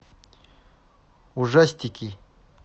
ужастики